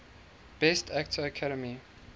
best actor academy